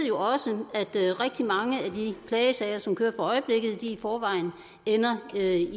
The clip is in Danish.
jo også at rigtig mange af de klagesager som kører for øjeblikket i forvejen ender med et